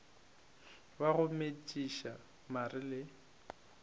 wa go metšiša mare le